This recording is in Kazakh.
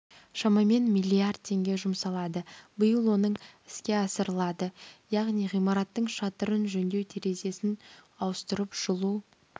шамамен миллиард теңге жұмсалады биыл оның іске асырылады яғни ғимараттың шатырын жөндеу терезесін ауыстырып жылу